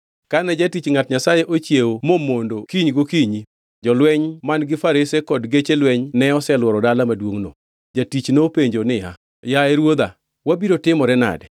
Kane jatich ngʼat Nyasaye ochiewo mo mondo kiny gokinyi, jolweny man-gi farese kod geche lweny ne oseluoro dala maduongʼno. Jatich nopenjo niya, “Yaye, ruodha, wabiro timore nade?”